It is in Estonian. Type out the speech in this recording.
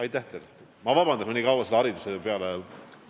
Palun vabandust, et ma nii kaua hariduse teemal rääkisin!